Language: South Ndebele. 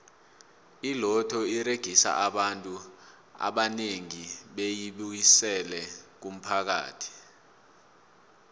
iloto uregisa abantu abanengi beyi busela kumphakathi